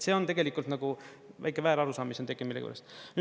See on nagu väike väärarusaam, mis on tekkinud millegipärast.